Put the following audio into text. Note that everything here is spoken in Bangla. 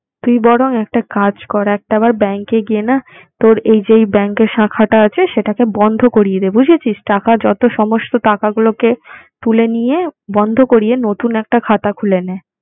তুই বরং একটা কাজ কর, একটাবার bank এ গিয়ে না তোর এই যেই bank এর শাখাটা আছে সেটাকে বন্ধ করিয়ে দে। বুঝেছিস? টাকা যত সমস্ত টাকাগুলোকে তুলে নিয়ে বন্ধ করিয়ে নতুন একটা খাতা খুলে নে।